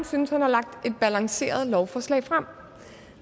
synes at han har lagt et balanceret lovforslag frem